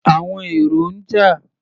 Àwọn èrò ń jà.